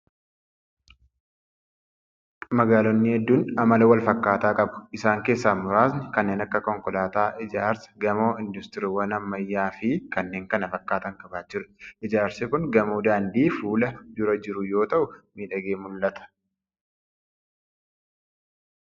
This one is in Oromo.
Magaaloonni hedduun amala wal fakkaataa qabu. Isaan keessaa muraasni kanneen akka konkolaataa, ijaarsa gamoo, industiriiwwan ammayyaa fi kanneen kana fakkaatan qabaachuudha. Ijaarsi kun gamoo daandii fuula dura jiru yoo ta'u, miidhagee mul'ata.